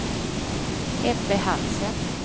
Ebbe Hansen